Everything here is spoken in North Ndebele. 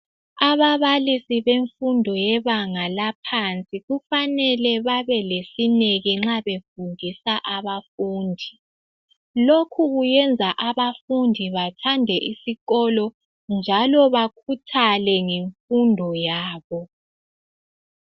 Ababalisi bemfundo yebenga laphansi kufanele babe lesineke nxa befundisa abafundi. Lokhu kuyenza abafundi bathande isikolo njalo bakhuthale ngemfundo yabo.